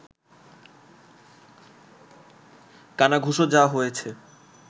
কানাঘুষো যা হয়েছে